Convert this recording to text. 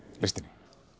listinni